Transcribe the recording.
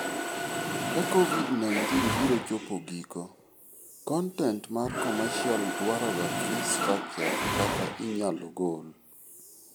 Ka Covid-19 biro chopo giko, kontent mar commercial dwaroga free structure kata inyalo gol.